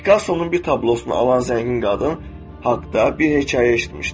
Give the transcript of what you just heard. Pikassonun bir tablosunu alan zəngin qadın haqda bir hekayə eşitmişdim.